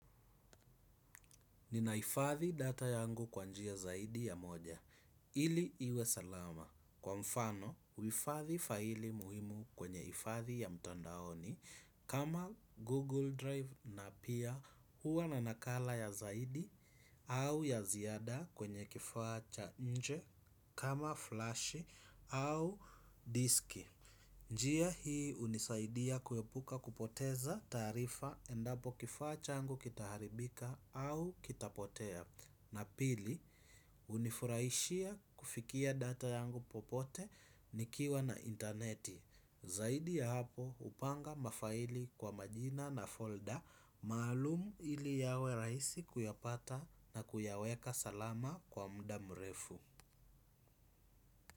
Ninahifadhi data yangu kwa njia zaidi ya moja. Ili iwe salama. Kwa mfano, huifadhi faili muhimu kwenye hifadhi ya mtandaoni kama Google Drive na pia huwa na nakala ya zaidi au ya ziada kwenye kifaa cha nje kama flash au disk. Njia hii hunisaidia kuepuka kupoteza taarifa endapo kifaa changu kitaharibika au kitapotea. Na pili, hunifurahishia kufikia data yangu popote nikiwa na interneti. Zaidi ya hapo hupanga mafaili kwa majina na folder maalum ili yawe rahisi kuyapata na kuyaweka salama kwa muda mrefu.